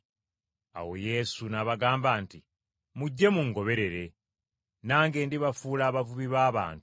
Awo Yesu, n’abagamba nti, “Mujje mungoberere, nange ndibafuula abavubi b’abantu.”